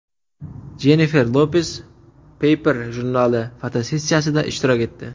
Jennifer Lopes Paper jurnali fotosessiyasida ishtirok etdi.